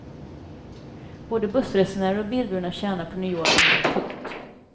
Både bussresenärer och bilburna tjänar på nyordningen. punkt